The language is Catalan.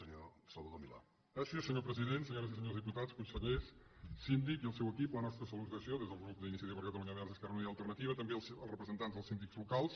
senyores i senyors diputats consellers síndic i el seu equip la nostra salutació des del grup d’iniciativa per catalunya verds esquerra unida i alternativa i també als representants dels síndics locals